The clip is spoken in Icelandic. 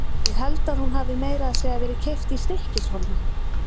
Ég held að hún hafi meira að segja verið keypt í STYKKISHÓLMI, sagði